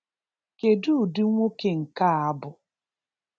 Kedụ ụdị nwoke nke a bụ?